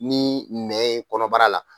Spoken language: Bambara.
Ni nɛn ye kɔnɔbara la.